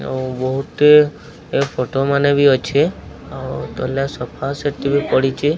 ଆଉ ବୋହୁଟେ ଏ ଫଟ ମାନେ ବି ଅଛେ। ଆଉ ତଲେ ସଫା ସେଟ୍ ବି ପଡ଼ିଚେ।